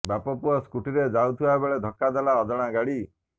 ବାପପୁଅ ସ୍କୁଟିରେ ଯାଉଥିବା ବେଳେ ଧକ୍କା ଦେଲା ଅଜଣା ଗାଡି